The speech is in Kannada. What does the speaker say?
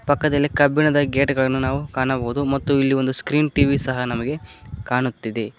ಪಕ್ಕದಲ್ಲಿ ಕಬ್ಬಿಣದ ಗೇಟುಗಳನ್ನು ನಾವು ಕಾಣಬಹುದು ಮತ್ತು ಇಲ್ಲಿ ಒಂದು ಸ್ಕ್ರೀನ್ ಟಿ_ವಿ ಸಹ ನಮಗೆ ಕಾಣುತ್ತಿದೆ.